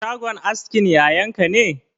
Shagon askin yayan ka ne?